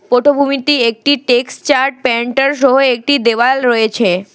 পটভূমিটি একটি texture painter সহ একটি দেওয়াল রয়েছে।